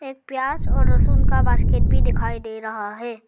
एक प्याज और लहसुन का बास्केट भी दिखाई दे रहा है।